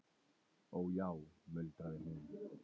Ó já muldraði hún.